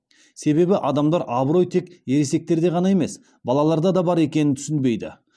себебі адамдар абырой тек ересектерде ғана емес балаларда да бар екенін түсінбейді